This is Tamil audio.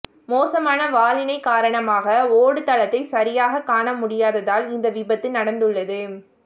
மோசமான வானிலை காரணமாக ஓடுதளத்தை சரியாக காணமுடியததால் இந்த விபத்து நடந்துள்ளது